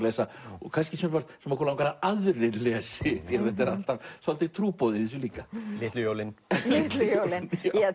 lesa og kannski sumpart sem okkur langar að aðrir lesi því þetta er alltaf svolítið trúboð í þessu líka litlu jólin Litlu jólin